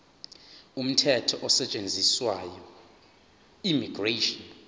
umthetho osetshenziswayo immigration